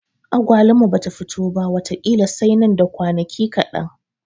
Agwaluma bata fito ba wata ƙila sai nan da kwanaki kaɗan.